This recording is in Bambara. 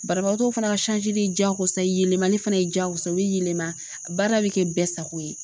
Banabagatɔ fana ka jagosa yelemali fana ye jaagosa ye u bɛ yɛlɛma baara bɛ kɛ bɛɛ sago ye.